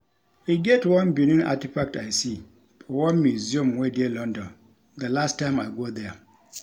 E get one Benin artefact I see for one museum wey dey London the last time I go there